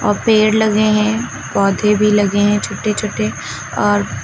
और पेड़ लगे हैं पौधे भी लगे हैं छोटे छोटे और--